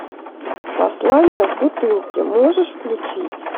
послание в бутылке можешь включить